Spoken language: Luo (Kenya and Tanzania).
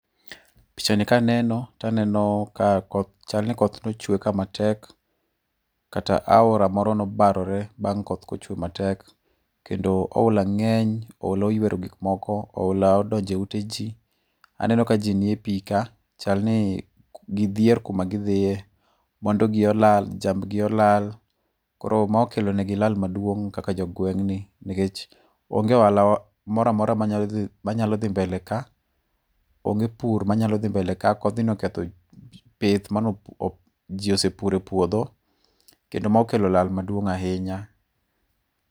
Picha ni kaneno to aneno ka koth chal ni koth ne ochwe ka matek. Kata aora moro nobarore bang' koth koth kochwe matek. Kendo opula ng'eny. Oula oywero gik moko. Oula odonjo e ute ji. Aneno ka ji niepi ka. Chal ni gidhier kuma gidhie. Mwandu gi olal. Jambgi olal. Koro ma okelo ne gi lal maduong' kaka jogweng'ni nikech onge oala moro amora manyalo dhi mbele ka. Onge pur manyalo dhi mbele ka. Kodhni oketh pith mane ji osepuro e puodho. Kendo ma okelo lal maduong' ahinya.